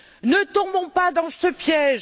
Ne tombons pas dans ce piège.